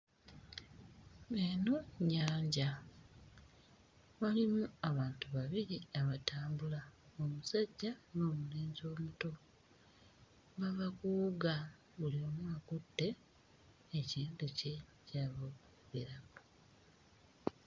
Eno nnyanja mulimu abantu babiri abatambula omusajja n'omulenzi omuto, bava kuwuga buli omu akutte ekintu kye ky'ava okkoleramu.